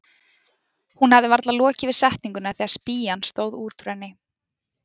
Hún hafði varla lokið við setninguna þegar spýjan stóð út úr henni.